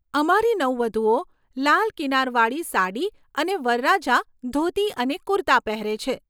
અમારી નવવધુઓ લાલ કિનારવાળી સાડી અને વરરાજા ધોતી અને કુર્તા પહેરે છે.